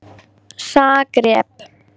Zagreb